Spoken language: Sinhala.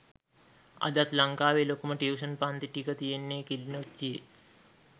අදත් ලංකාවේ ලොකුම ටියුෂන් පන්ති ටික තියෙන්නේ කිළිනොච්චියෙ